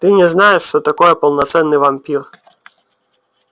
ты не знаешь что такое полноценный вампир